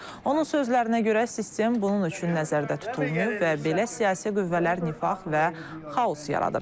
Onun sözlərinə görə, sistem bunun üçün nəzərdə tutulmayıb və belə siyasi qüvvələr nifaq və xaos yaradır.